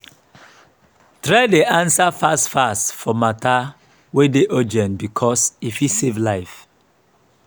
try dey ansa fast fast for mata wey dey urgent bikos e fit save life